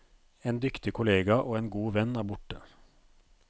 En dyktig kollega og en god venn er borte.